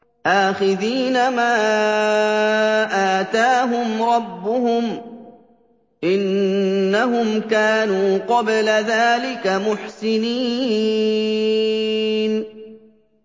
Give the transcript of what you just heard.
آخِذِينَ مَا آتَاهُمْ رَبُّهُمْ ۚ إِنَّهُمْ كَانُوا قَبْلَ ذَٰلِكَ مُحْسِنِينَ